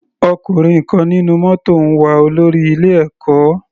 Ọkùnrin kan nínú mótò ń wá olórí ilé ẹ̀kọ́.